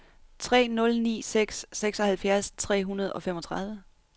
tre nul ni seks seksoghalvfjerds tre hundrede og femogtredive